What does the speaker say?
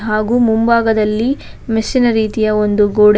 ಹಾಗೂ ಮುಂಭಾಗದಲ್ಲಿ ಮೆಸ್ ಇನ ರೀತಿಯ ಒಂದು ಗೋಡೆ--